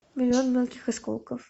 миллион мелких осколков